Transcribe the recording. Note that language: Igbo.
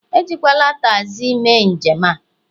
Ejikwala tagzi mee njem a